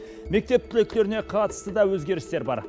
мектеп түлектеріне қатысты да өзгерістер бар